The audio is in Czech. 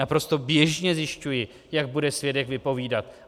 Naprosto běžně zjišťuji, jak bude svědek vypovídat.